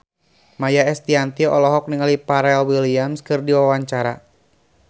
Maia Estianty olohok ningali Pharrell Williams keur diwawancara